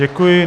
Děkuji.